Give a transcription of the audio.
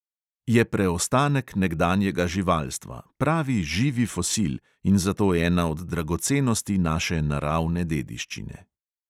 Je preostanek nekdanjega živalstva, pravi živi fosil, in zato ena od dragocenosti naše naravne dediščine.